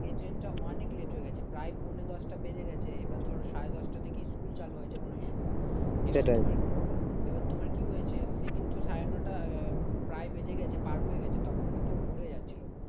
এ ট্রেনটা অনেক late হয়ে গেছে প্রায় পৌনে দশটা বেজে গেছে এবার ধরো সাড়ে দশটা থেকে স্কুল চালু হয় যে কোনো স্কুল এবার তোমার কি হয়েছে সে কিন্তু সাড়ে নটা প্রায় বেজে গেছে পার হয়ে গেছে। তখন কিন্তু ঘুরে যাচ্ছিল